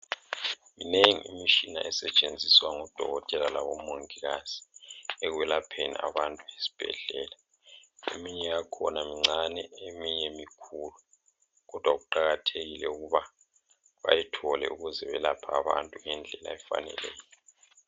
Minengi imitshina esetshenziswa ngodokotela labo mongikazi ekwelapheni abantu ezibhedlela ,eminye yakhona mncane eminye mkhulu kodwa kuqakathekile ukuba bayithole ukuze belaphe abantu ngendlela efaneleyo